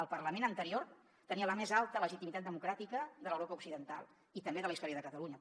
el parlament anterior tenia la més alta legitimitat democràtica de l’europa occidental i també de la història de catalunya